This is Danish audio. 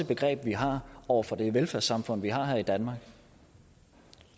begreb vi har over for det velfærdssamfund vi har her i danmark